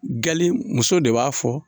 Gali muso de b'a fɔ